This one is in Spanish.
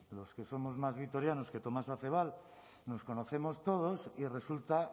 los que somos más vitorianos que tomás acebal nos conocemos todos y resulta